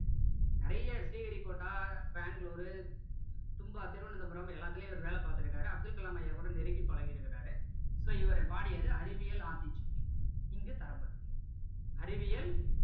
நிறைய ஸ்ரீஹரிகோட்டா பெங்களூரு தும்பா திருவனந்தபுரம் எல்லாத்துலயும் இவர் வேலை பார்த்திருக்காரு அப்துல் கலாம் ஐயா கூட நெருங்கி பழகி இருக்காரு so இவர் பாடியது அறிவியல் ஆத்திச்சூடி இங்கு தரப்பட்டுள்ளது அறிவியல்